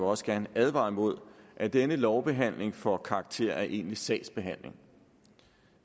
også gerne advare imod at denne lovbehandling får karakter af egentlig sagsbehandling